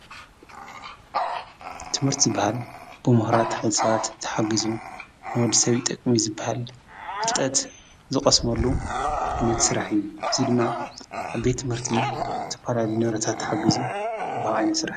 ትምህርቲ ዝበሃል ብሙሁራት ሓይሊ ሰባት ተሓጊዙ ንወዲሰብ ይጠቅም እዩ ዝበሃል ፍልጠት ዝቀስመሉ ዓይነት ስራሕ እዩ፡፡ እዚ ድማ አብ ቤት ትምህርቲ ዝተፈላለዩ ንብረታት ተሓጊዙ ብዙሕ ዓይነት ይስራሕ፡፡